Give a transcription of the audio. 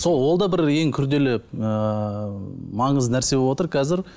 сол ол да бір ең күрделі ыыы маңызды нәрсе бовотыр қазір